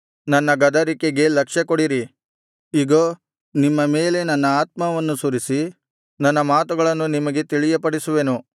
ನನ್ನ ಗದರಿಕೆಗೆ ಲಕ್ಷ್ಯಕೊಡಿರಿ ಇಗೋ ನಿಮ್ಮ ಮೇಲೆ ನನ್ನ ಆತ್ಮವನ್ನು ಸುರಿಸಿ ನನ್ನ ಮಾತುಗಳನ್ನು ನಿಮಗೆ ತಿಳಿಯಪಡಿಸುವೆನು